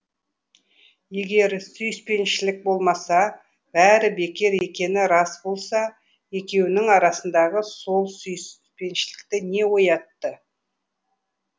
егер сүйіспеншілік болмаса бәрі бекер екені рас болса екеуінің арасындағы сол сүйіспеншілікті не оятты